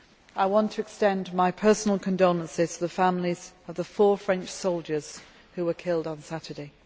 I want to extend my personal condolences to the families of the four French soldiers who were killed on Saturday.